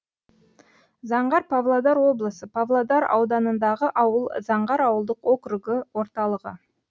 заңғар павлодар облысы павлодар ауданындағы ауыл заңғар ауылдық округі орталығы